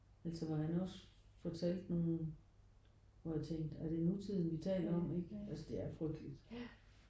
Altså hvor han også fortalte nogen hvor jeg tænkte er det nutiden vi taler om ikke? Altså det er frygteligt